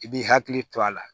I b'i hakili to a la